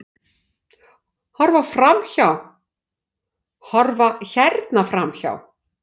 Horfa hérna framhjá!